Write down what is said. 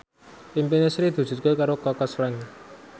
impine Sri diwujudke karo Kaka Slank